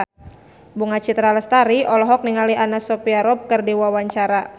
Bunga Citra Lestari olohok ningali Anna Sophia Robb keur diwawancara